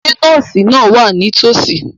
Ṣé nọ́ọ̀sì náà wà nítòsí?